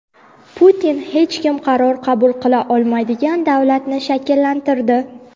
Putin hech kim qaror qabul qila olmaydigan davlatni shakllantirdi.